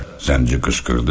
Zənci qışqırdı.